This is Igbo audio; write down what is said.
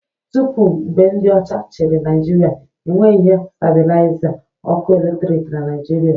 Tupu mgbe ndị ọcha chịrị Naijiria, e nweghị ihe stabilaiza ọkụ eletrik na Naịjirịa